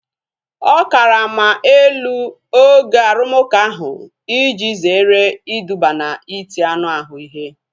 Ọ karama elu oge arumuka ahu iji zere iduba na iti anụ ahụ ihe